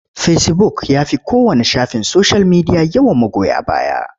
Fecibuk ya fi kowanne shafin soshiyal media yawan magoya baya.